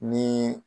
Ni